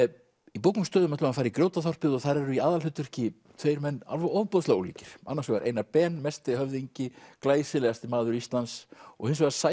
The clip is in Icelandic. í bókum og stöðum ætlum við að fara í Grjótaþorpið og þar eru í aðalhlutverki tveir menn alveg ofboðslega ólíkir annars vegar Einar Ben mesti höfðingi glæsilegasti maður Íslands og hins vegar